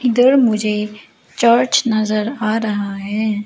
इधर मुझे चर्च नजर आ रहा है।